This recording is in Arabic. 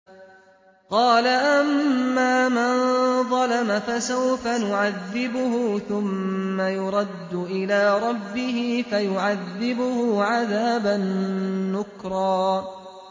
قَالَ أَمَّا مَن ظَلَمَ فَسَوْفَ نُعَذِّبُهُ ثُمَّ يُرَدُّ إِلَىٰ رَبِّهِ فَيُعَذِّبُهُ عَذَابًا نُّكْرًا